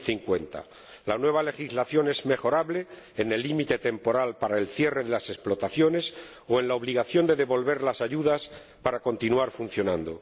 2050. La nueva legislación es mejorable en lo que respecta al límite temporal para el cierre de las explotaciones o a la obligación de devolver las ayudas para continuar funcionando.